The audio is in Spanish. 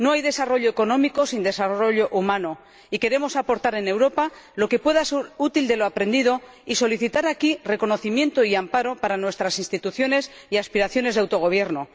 No hay desarrollo económico sin desarrollo humano, y queremos aportar a Europa lo que pueda ser útil de lo aprendido y solicitar aquí reconocimiento y amparo para nuestras instituciones y aspiraciones de autogobierno.